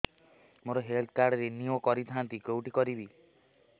ମୋର health card renew କରିଥାନ୍ତି କୋଉଠି କରିବି